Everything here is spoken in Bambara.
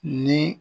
Ni